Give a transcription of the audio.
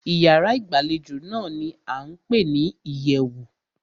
Ìyárá ìgbàlejò náà ní a ń pé ní ìyẹ̀wù.